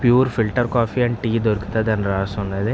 Pure filter coffee దొరుకుతది అని రాసి ఉంది.